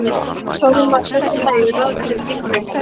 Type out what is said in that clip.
Sólmar, spilaðu lagið „Ráð til vinkonu“.